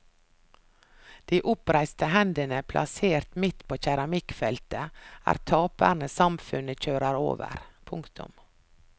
De oppreiste hendene plassert midt på keramikkfeltet er taperne samfunnet kjører over. punktum